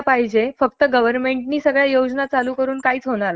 आपल्यासारखे जे नौजवान लोक आहेत आता आपल्यासारखे